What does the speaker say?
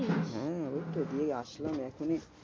হম এইত দিয়ে আসলাম এখনই।